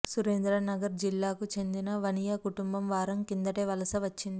సురేంద్ర నగర్ జిల్లాకు చెందిన వనియా కుటుంబం వారం కిదంటే వలస వచ్చింది